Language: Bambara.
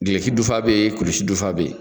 duloki dufa bɛ yen kulusi dufa bɛ yen